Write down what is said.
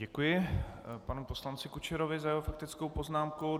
Děkuji panu poslanci Kučerovi za jeho faktickou poznámku.